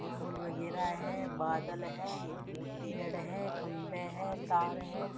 फूल वगैरा हैं बादल हैं पेड़ हैं खंभे हैं तार है |